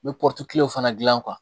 N bɛ fana gilan